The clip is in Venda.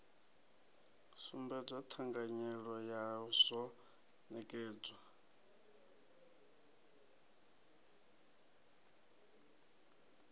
sumbedzwa thanganyelo ya rzwo nekedzwa